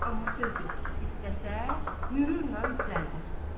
Amma söz yox, istəsə mürurlə düzəldər.